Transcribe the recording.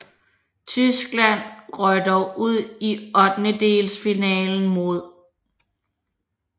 Tyskland røg dog ud i ottendedelsfinalen mod